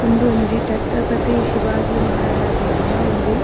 ಉಂದೊಂಜಿ ಛತ್ರಪತಿ ಶಿವಾಜಿ ಮಹರಾಜೆರೆನ ಒಂಜಿ --